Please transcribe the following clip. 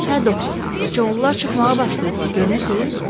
Hə doktor, sıçovullar çıxmağa başlayıblar, görürsüz?